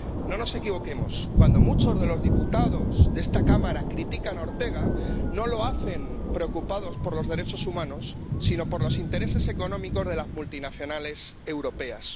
No nos equivoquemos, cuando muchos de los diputados de esta Cámara critican a Ortega, no lo hacen preocupados por los derechos humanos, sino por los intereses económicos de las multinacionales europeas.